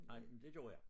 Nej men det gjorde jeg